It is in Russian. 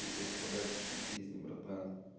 пиздастрадальческие песни братан